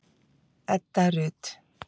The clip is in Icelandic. Edda Rut.